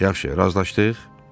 Yaxşı, razılaşdıq?